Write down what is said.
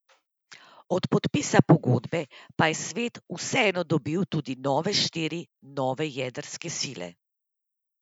Od podpisa pogodbe pa je svet vseeno dobil tudi nove štiri nove jedrske sile.